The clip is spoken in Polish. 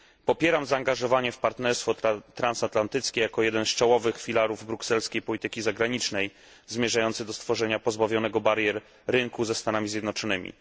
Popieram zaangażowanie w partnerstwo transatlantyckie jako jeden z czołowych filarów brukselskiej polityki zagranicznej, zmierzający do stworzenia pozbawionego barier rynku ze Stanami Zjednoczonymi.